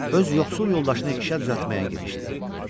Öz yoxsul yoldaşını işə düzəltməyə girişdi.